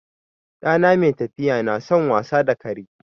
Ɗana mai tafiya na son wasa da kare.